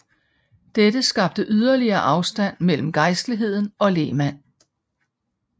Dette skabte yderligere afstand mellem gejstligheden og lægmand